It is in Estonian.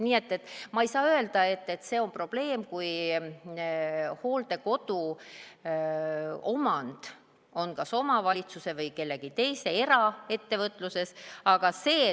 Nii et ma ei saa öelda, et see on probleem, kui hooldekodu on kas omavalitsuse või kellegi teise, eraettevõtluse omandis.